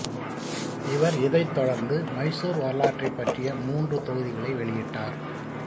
இவர் இதைத் தொடர்ந்து மைசூர் வரலாற்றைப் பற்றிய மூன்று தொகுதிகளை வெளியிட்டார்